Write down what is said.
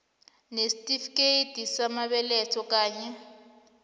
nesitifikethi samabeletho kanye